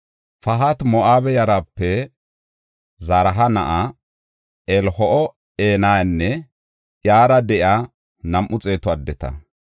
Pahati-Moo7abe yarape Zaraha na7aa Eliho7enayanne iyara de7iya nam7u xeetu addeta.